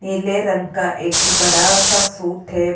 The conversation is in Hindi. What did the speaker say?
नीले रंग का एक बड़ा सा सूट है।